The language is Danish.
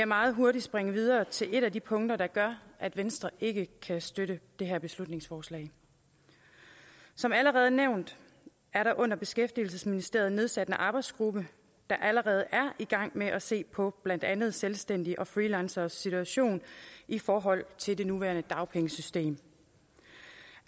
meget hurtigt springe videre til et af de punkter der gør at venstre ikke kan støtte det her beslutningsforslag som allerede nævnt er der under beskæftigelsesministeriet nedsat en arbejdsgruppe der allerede er i gang med at se på blandt andet selvstændiges og freelanceres situation i forhold til det nuværende dagpengesystem